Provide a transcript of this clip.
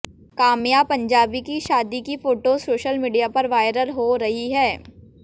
काम्या पंजाबी की शादी की फोटोज सोशल मीडिया पर वायरल हो रही हैं